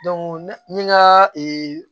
n ye n ka